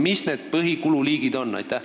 Mis need põhilised kululiigid on?